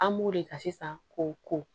An b'o de ka sisan k'o ko